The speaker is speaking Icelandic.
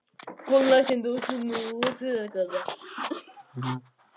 Hann lagði ekki meira á hana en hún þoldi.